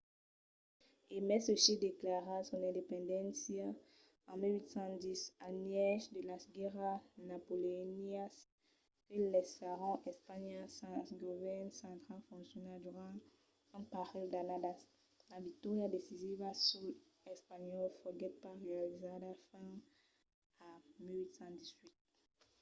e mai se chile declarèt son independéncia en 1810 al mièg de las guèrras napoleonianas que laissèron espanha sens un govèrn central foncional durant un parelh d'annadas la victòria decisiva suls espanhòls foguèt pas realizada fins a 1818